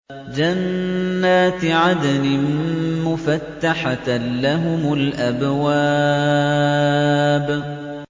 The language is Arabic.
جَنَّاتِ عَدْنٍ مُّفَتَّحَةً لَّهُمُ الْأَبْوَابُ